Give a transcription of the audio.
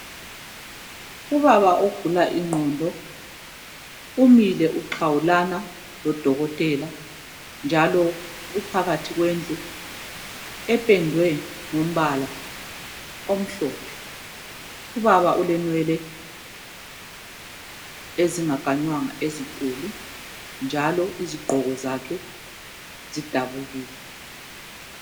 Ubaba ogula ingqondo umile uxhawulana lodokotela njalo uphakathi kwendlu ependwe ngombala omhlophe ubaba ulenwele ezinga kanywanga ezinkulu njalo izigqoko zakhe zidabukile.